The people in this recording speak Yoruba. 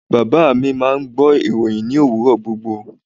Baba mi máà ń gbọ́ ìròhìn ní òwúrọ̀ gbogbo.